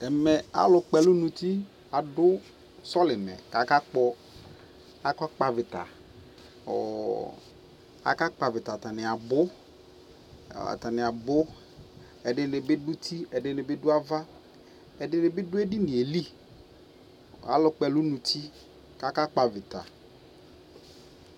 ɛmɛ alʋ kpɔ ɛlʋ nʋ ʋti adʋ sɔlimɛ kʋ aka kpɔ aɣita, aka kpɔ aɣita atani abʋ, ɛdini bi dʋ ʋti, ɛdibi dʋ aɣa ,ɛdinibi dʋ ɛdiniɛ li, alʋ kpɔ ɛlʋ nʋ ʋti kʋ aka kpɔ aɣita